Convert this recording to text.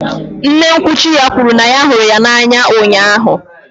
Nne nkwuchi ya kwuru na ya hụrụ ya n'anya ụnyahụ